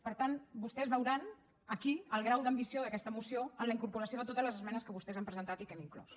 per tant vostès veuran aquí el grau d’ambició d’aquesta moció amb la incorporació de totes les esmenes que vostès han presentat i que hem inclòs